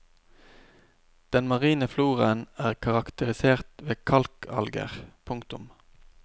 Den marine floraen er karakterisert ved kalkalger. punktum